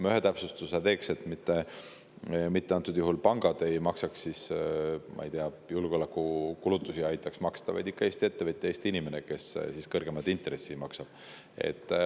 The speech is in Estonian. Ma teeks siiski ühe täpsustuse: mitte pangad ei aitaks julgeolekukulutusi kinni maksta, vaid ikka Eesti ettevõtja, Eesti inimene, kes kõrgemat intressi maksab.